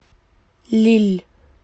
лилль